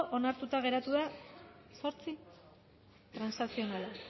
onartuta geratu da zortzi transakzionala